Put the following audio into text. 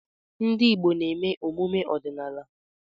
Ndị Igbo na-eme emume ọdịnala.